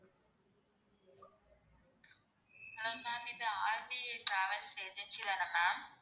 hello ma'am இது RKA travels agency தான ma'am